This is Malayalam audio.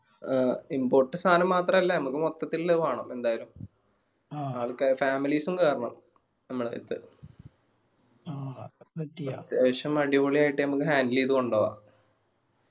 ആ import സാനം മാത്രല്ല ഞമ്മക്ക് മൊത്തത്തിലില്ല അത് വേണം എന്തായാലും